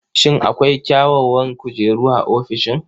Shin akwai kyawawan kujeru a ofishin?